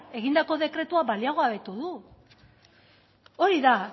egindako dekretua baliogabetu du hori da